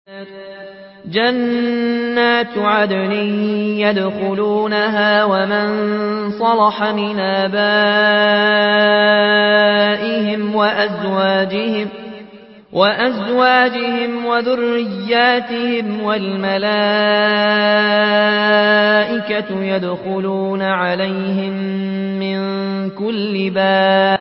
جَنَّاتُ عَدْنٍ يَدْخُلُونَهَا وَمَن صَلَحَ مِنْ آبَائِهِمْ وَأَزْوَاجِهِمْ وَذُرِّيَّاتِهِمْ ۖ وَالْمَلَائِكَةُ يَدْخُلُونَ عَلَيْهِم مِّن كُلِّ بَابٍ